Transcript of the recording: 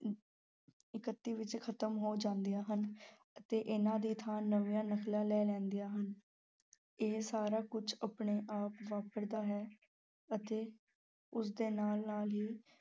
ਇਕੱਤੀ ਵਿੱਚ ਖ਼ਤਮ ਹੋ ਜਾਂਦੀਆਂ ਹਨ ਅਤੇ ਇਹਨਾਂ ਦੀ ਥਾਂ ਨਵੀਂਆਂ ਨਕਲਾਂ ਲੈ ਲੈਂਦੀਆਂ ਹਨ, ਇਹ ਸਾਰਾ ਕੁਝ ਆਪਣੇ ਆਪ ਵਾਪਰਦਾ ਹੈ ਅਤੇ ਉਸਦੇ ਨਾਲ ਨਾਲ ਹੀ